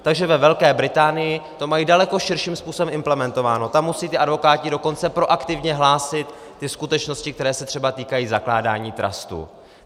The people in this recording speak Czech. Takže ve Velké Británii to mají daleko širším způsobem implementováno, tam musí ti advokáti dokonce proaktivně hlásit ty skutečnosti, které se třeba týkají zakládání trustů.